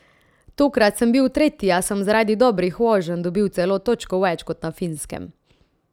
Tokrat sem bil tretji, a sem zaradi dobrih voženj dobil celo točko več kot na Finskem.